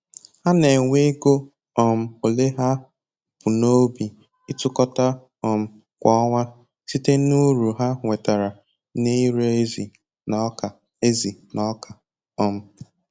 Ha na-enwe ego um ole ha bu n'obi ịtụkọta um kwa ọnwa site n'uru ha nwetara na-ire ezi na ọka ezi na ọka um